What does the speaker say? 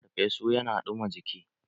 Ferfesu ya na ɗuma jiki.